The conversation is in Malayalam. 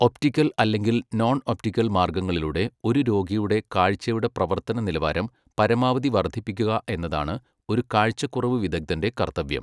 ഒപ്റ്റിക്കൽ അല്ലെങ്കിൽ നോൺ ഒപ്റ്റിക്കൽ മാർഗങ്ങളിലൂടെ ഒരു രോഗിയുടെ കാഴ്ചയുടെ പ്രവർത്തന നിലവാരം പരമാവധി വർദ്ധിപ്പിക്കുക എന്നതാണ് ഒരു കാഴ്ചക്കുറവ് വിദഗ്ധന്റെ കർത്തവ്യം.